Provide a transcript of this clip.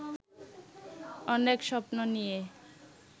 অনেক স্বপ্ন নিয়ে